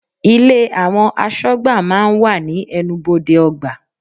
Ilé àwọn aṣọgbà máa ń wà ní ẹnubodè ọgbà.